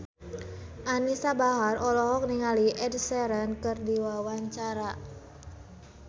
Anisa Bahar olohok ningali Ed Sheeran keur diwawancara